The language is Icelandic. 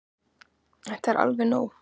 Þetta er alveg nóg!